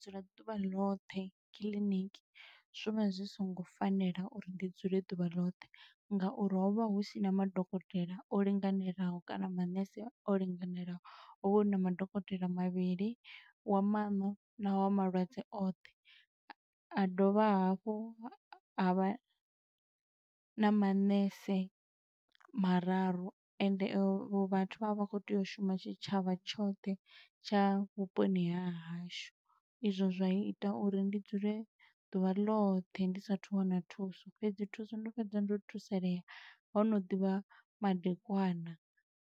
Dzula ḓuvha ḽoṱhe kiḽiniki zwi vha zwi songo fanela uri ndi dzule ḓuvha ḽoṱhe. Ngauri ho vha hu sina madokotela o linganelaho, kana manese o linganelaho. Ho vha huna madokotela mavhili, wa maṋo na wa malwadze oṱhe. A a dovha hafhu a vha na manese mararu ende avho vhathu vha vha vha khou tea u shuma tshitshavha tshoṱhe tsha vhuponi ha hashu. Izwo zwa ita uri ndi dzule ḓuvha ḽoṱhe ndi sathu wana thuso, fhedzi thuso ndo fhedza ndo thusalea ho no ḓivha madekwana.